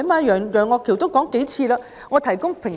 楊岳橋議員也數次提及"提供平台"。